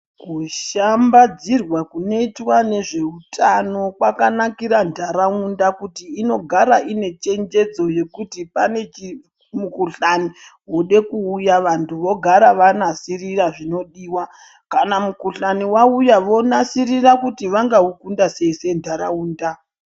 Kushambadzirwa kunoitwa nezvehutano kwakanakira nharaunda ngekuti inogara ine chenjedzo nekuti ine pane mikuhlani Yoda kuuya vantu vogara vanasirira zvinodiwa kana mukuhlani wauya vanasirira vanga ukunda sei senharaunda.